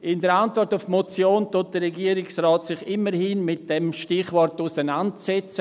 In der Antwort auf die Motion setzt sich der Regierungsrat immerhin mit diesem Stichwort auseinander.